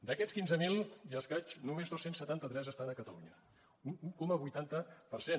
d’aquests quinze mil i escaig només dos cents i setanta tres estan a catalunya un un coma vuitanta per cent